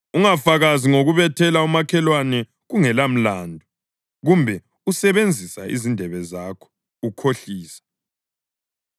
Ungafakazi ngokubethela umakhelwane kungelamlandu, kumbe usebenzise izindebe zakho ukhohlisa.